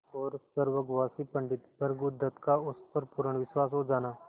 और स्वर्गवासी पंडित भृगुदत्त का उस पर पूर्ण विश्वास हो जाना